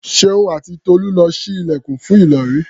Ṣeun àti Tolú lọ ṣí ilẹ̀kùn fún Ìlọ̀rí.